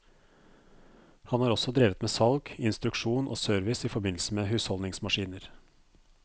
Han har også drevet med salg, instruksjon og service i forbindelse med husholdningsmaskiner.